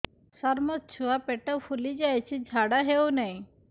ସାର ମୋ ଛୁଆ ପେଟ ଫୁଲି ଯାଉଛି ଝାଡ଼ା ହେଉନାହିଁ